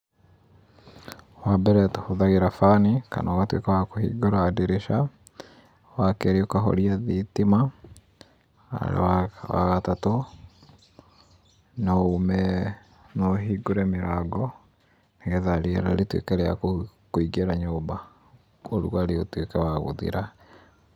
Wambere tũhũthagĩra fani, kana ũgatuĩka wa kũhingũra ndirica, wakerĩ ũkahoria thitima, wa gatatũ, no uume, no ũhingũre mĩrango nĩgetha rĩera rĩtuĩke rĩa kũingĩra nyũmba ũrugarĩ ũtuĩke wa gũthira.